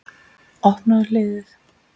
Opnaðu hliðið.